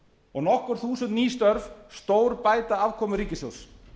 og nokkur þúsund ný störf stórbæta afkomu ríkissjóðs